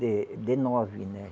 de de nove, né